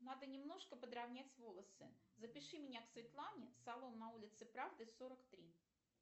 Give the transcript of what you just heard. надо немножко подравнять волосы запиши меня к светлане салон на улице правды сорок три